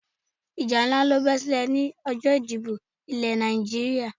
Ìjà nlá ló be silè ni ọjó ìdìbò Ilè Nàìjíríà